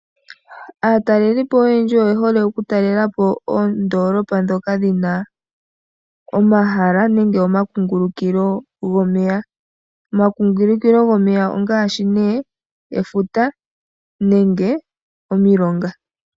Aatalelipo oyendji oye hole oku talelapo oondoolopa dhoka dhina omahala nenge omakungulukilo gomeya. Omakungulukilo gomeya ongaashi nee efuta nenge omilonga.